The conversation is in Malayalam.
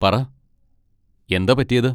പറ, എന്താ പറ്റിയത്?